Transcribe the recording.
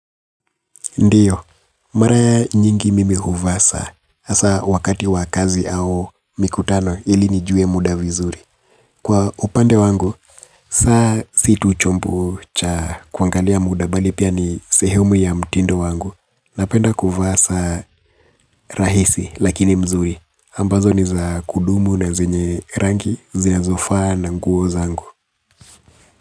Ndiyo. Mara nyingi mimi huvaa saa. Hasa wakati wa kazi au mikutano ili nijue muda vizuri. Kwa upande wangu, saa si tu chombo cha kuangalia muda bali pia ni sehemu ya mtindo wangu. Napenda kuvaa saa rahisi lakini mzuri. Ambazo ni za kudumu na zenye rangi, zinazofaa na nguo zangu.